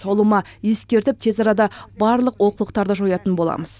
ұлыма ескертіп тез арада барлық олқылықтарды жоятын боламыз